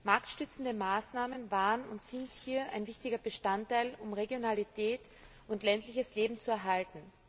Marktstützende Maßnahmen waren und sind hier ein wichtiger Bestandteil, um Regionalität und ländliches Leben zu erhalten.